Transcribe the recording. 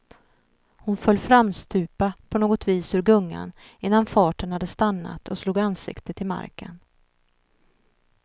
Hon föll framstupa på något vis ur gungan innan farten hade stannat och slog ansiktet i marken.